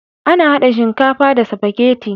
Ana hada shinkafa da sifageti